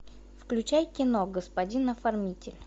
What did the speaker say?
включай кино господин оформитель